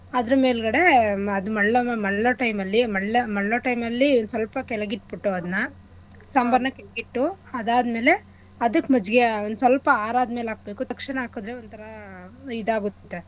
ಅದ್ರ ಮೇಲ್ಗಡೆ ಅದ್ ಮಳ್ಳಮ ಅದ್ ಮಳ್ಳಾ time ಅಲ್ಲಿ ಮಳ್ಳ ಮಳ್ಳಾ time ಅಲ್ಲಿ ಸ್ವಲ್ಪ ಕೆಳಗಿಟ್ಬಿಟ್ಟು ಅದನ್ನ ಸಾಂಬಾರ್ನ ಕೆಳಗಿಟ್ಟು ಅದಾದ್ಮೇಲೆ ಅದಕ್ ಮಜ್ಜೆ ಒಂದ್ಸ್ವಲ್ಪ ಆರದ್ಮೇಲೆ ಹಾಕ್ಬೇಕು. ತಕ್ಷಣ ಹಾಕದ್ರೆ ಒಂಥರಾ ಇದಾಗುತ್ತೆ.